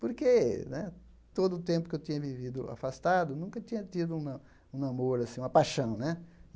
Porque né todo o tempo que eu tinha vivido afastado, nunca tinha tido uma um namoro assim, uma paixão né.